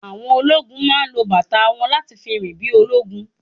Àwọn ológún máa lo bàtà wọn láti fi rìn bí ológun